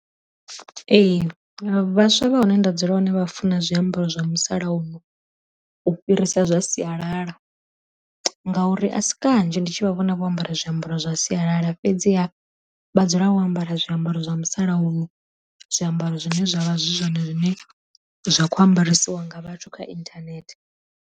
Ee vhaswa vha hune nda dzula hone vha funa zwiambaro zwa musalauno u fhirisa zwa sialala, ngauri a si kanzhi ndi tshi vha vhona vho ambara hezwo zwiambaro zwa sialala fhedziha vha dzula wo ambara zwiambaro zwa musalauno, zwiambaro zwine zwavha zwi zwone zwine zwa kho ambaresiwa nga vhathu kha inthanethe.